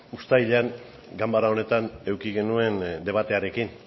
uztailean ganbara honetan eduki genuen debatearekin